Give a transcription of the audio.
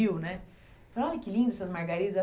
né. Ela falou, olha que lindo essas margaridas.